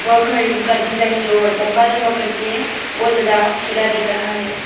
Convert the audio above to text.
और घर का डिजाइन जो लंबा लंबा करके है बहुत ज्यादा किला दिख रहा है।